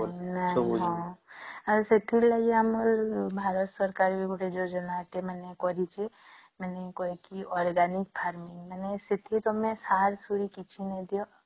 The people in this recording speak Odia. ନାଇଁ ହଁ ଆଉ ସେଥିରୁ ଲାଗି ଆମ ଭାରତ ସରକାର ବି ଗୋଟେ ଯୋଜନା ଟେ ମାନେ କରିଛି କାଇଁକି organic farming ମାନେ ସେଠି ତମେ ସାର ସୁର କିଛି ନାଇଁ ଦିଅ